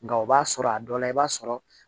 Nka o b'a sɔrɔ a dɔ la i b'a sɔrɔ